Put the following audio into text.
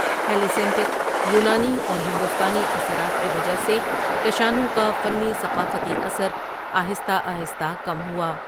Hellenistic یونانی اور ہندوستانی اثرات کی وجہ سے کشانوں کا فنی ثقافتی اثر آہستہ آہستہ کم ہوا۔